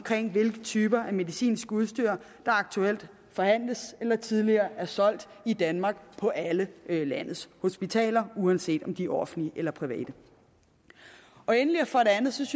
hvilke typer af medicinsk udstyr der aktuelt forhandles eller tidligere er solgt i danmark på alle landets hospitaler uanset om de er offentlige eller private for det andet synes